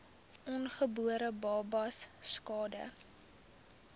ongebore babas skade